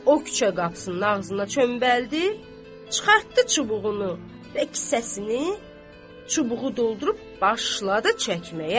Və o küçə qapısının ağzında çömbəldi, çıxartdı çubuğunu və kisəsini, çubuğu doldurub başladı çəkməyə.